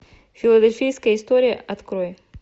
филадельфийская история открой